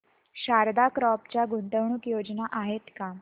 Sharda crop च्या गुंतवणूक योजना आहेत का